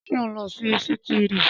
Ṣé o ń lọ sí sítììrì?